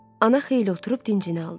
Ana xeyli oturub dincini aldı.